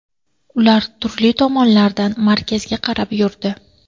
Ular turli tomonlardan markazga qarab yurdi.